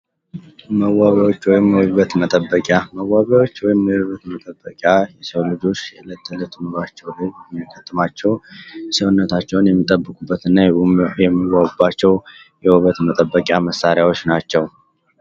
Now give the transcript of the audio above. መዌቢያዎች ወይም የዉበት መጠበቂያ:- መዋቢያዎች ወይም የዉበት መጠበቂያ የሰዉ ልጆች የእለት ተእለት ኑሯቸዉ ላይ ከሚያጋጥሟቸዉ ሰዉነታቸዉን የሚጠብቁበት እና የሚዋቡባቸዉ የዉበት መጠበቂያ መሳሪያዎች ናቸዉ።